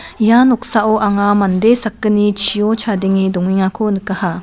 ia noksao anga mande sakgni chio chadenge dongengako nikaha.